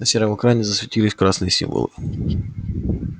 на сером экране засветились красные символы